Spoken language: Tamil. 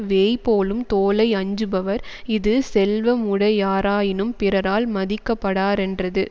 வேய்போலும் தோளை அஞ்சுபவர் இது செல்வமுடையாராயினும் பிறரால் மதிக்கப்படாரென்றது